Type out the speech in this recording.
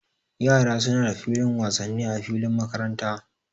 Yara suna da filin wasanni a filin makaranta